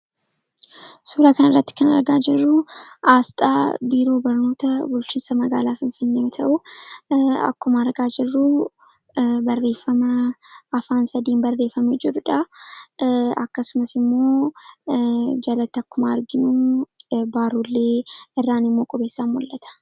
Suuraa kanarratti kan argaa jirru asxaa biiroo barnoota bulchinsa magaala Finfinnee yoo ta'u, akkuma argaa jirru barreeffama afaan sadiin barreeffame jirudha. akkasumas immoo, jalatti akkuma arginu baroollee irran immoo qorrisa mul'ata.